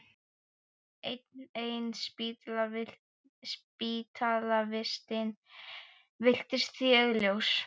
Enn ein spítalavistin virtist því augljós.